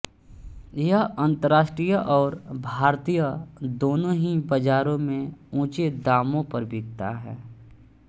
यह अन्तर्राष्ट्रीय और भारतीय दोनों ही बाजारों में ऊँचे दामों पर बिकता है